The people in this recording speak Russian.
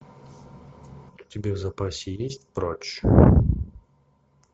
у тебя в запасе есть прочь